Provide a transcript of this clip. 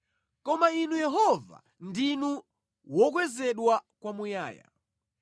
Koma Inu Yehova, ndinu wokwezedwa kwamuyaya.